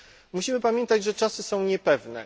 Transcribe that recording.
Musimy pamiętać, że czasy są niepewne.